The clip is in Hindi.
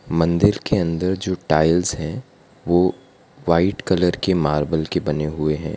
मंदिर के अंदर जो टाइल्स है वो वाइट कलर के मार्बल के बने हुए है।